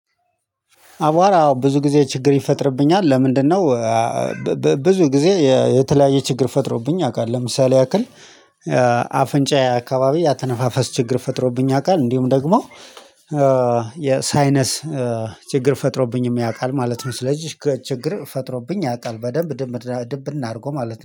አቧራ ብዙ ጊዜ ችግር ይፈጥርብኛል ለምንድነው ብዙ ጊዜ የተለያየ ችግር ፈጥሮብኝ ያውቃል ለምሳሌ ያክል አፍንጫዬ አከባቢ የአተነፋፈስ ችግር ፈጥሮብኝ ያውቃል እንዲሁም ደግሞ የሳይነስ ችግር ፈጥሮብኝም ያውቃል ማለት ነው። ስለዚህ ችግር ፈጥሮብኝ ያውቃል በደንብ ድብ ድብን እርጎ ማለት ነው።